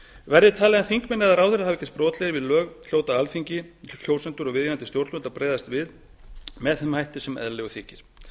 verði talið að þingmenn eða ráðherrar hafi gerst brotlegir við lög hljóta alþingi kjósendur og viðeigandi stjórnvöld að bregðast við því með þeim hætti sem eðlilegur þykir